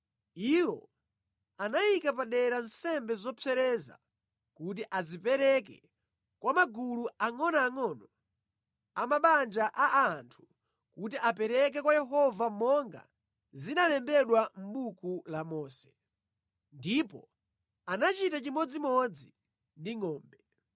Iwo anayika padera nsembe zopsereza kuti azipereke kwa magulu angʼonoangʼono a mabanja a anthu kuti apereke kwa Yehova monga zinalembedwa mʼbuku la Mose. Ndipo anachita chimodzimodzi ndi ngʼombe.